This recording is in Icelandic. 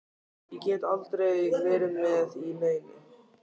Ég get aldrei verið með í neinu.